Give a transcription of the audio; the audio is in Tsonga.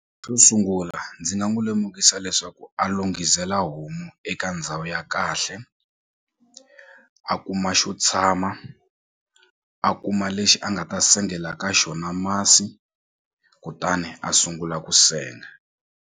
Xo sungula ndzi nga n'wi lemukisa leswaku a lunghisela homu eka ndhawu ya kahle a kuma xo tshama a kuma lexi a nga ta sengela ka xona masi kutani a sungula ku senga.